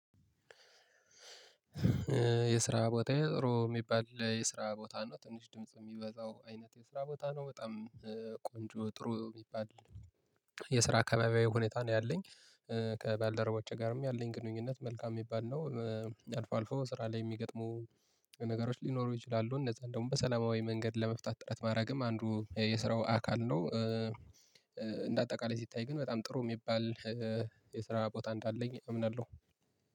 የስራ ቦታዬ ጥሩ ሚባል የስራ ቦታ ነው ትንሽ ድምጽ የሚበዛው አይነት የስራ ቦታ ነው በጣም እ ቆንጆ ጥሩ የሚባል። የስራ አካባቢያዊ ሁኔታ ነው ያለኝ እ ከባልደረቦቼ ጋርም ያለኝ ግንኙነት መልካም የሚባል ነው። እ አልፎ አልፎ በስራ ላይ የሚገጥሙ ነገሮች ሊኖሩ ይችላሉ እነዛም ደግሞ በሰላማዊ መንገድ ለመፍታት ጥረት ማድረግም አንዱ እ የስራው አካል ነው። እ እንደ አጠቃላይ ሲታይ ግን በጣም ጥሩ የሚባል እ የስራ ቦታ እንዳለኝ እምናለሁ።